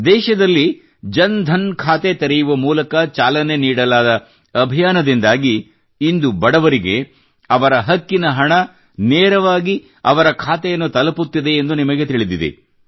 ದೇಶದಲ್ಲಿ ಜನ್ ಧನ್ ಖಾತೆ ತೆರೆಯುವ ಮೂಲಕ ಚಾಲನೆ ನೀಡಲಾದ ಅಭಿಯಾನದಿಂದಾಗಿ ಇಂದು ಬಡವರಿಗೆ ಅವರ ಹಕ್ಕಿನ ಹಣ ನೇರವಾಗಿ ಅವರ ಖಾತೆಯನ್ನು ತಲುಪುತ್ತಿದೆ ಎಂದು ನಿಮಗೆ ತಿಳಿದಿದೆ